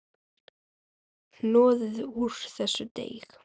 Hnoðið úr þessu deig.